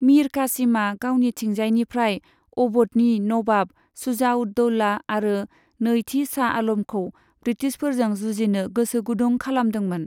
मीर कासिमा गावनिथिंजायनिफ्राय अव'धनि नवाब शुजा उद दौला आरो नैथि शाह आलमखौ ब्रिटिशफोरजों जुजिनो गोसोगुदुं खालामदोंमोन।